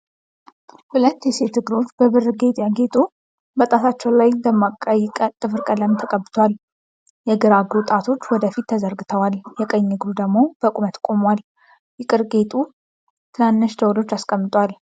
ሁለት የሴት እግሮች በብር ጌጥ ያጌጡ፣ በጣቶቻቸው ላይ ደማቅ ቀይ ጥፍር ቀለም ተቀብቷል። የግራ እግሩ ጣቶች ወደ ፊት ተዘርግተዋል፣ የቀኝ እግሩ ደግሞ በቁመት ቆሟል። ይቅር ጌጡ ትናንሽ ደውሎችን አስቀምጧል።